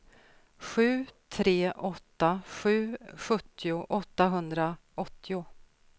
sju tre åtta sju sjuttio åttahundraåttio